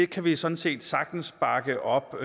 kan vi sådan set sagtens bakke op